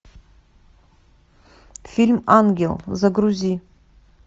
фильм ангел загрузи